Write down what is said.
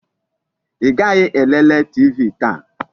Ị gaghị elele TV taa?